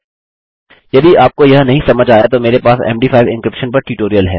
यदि आपको यह नहीं समझ आया तो मेरे पास मद5 एन्क्रिप्शन पर ट्यूटोरियल है